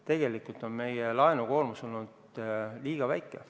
Tegelikult on meie laenukoormus olnud liiga väike.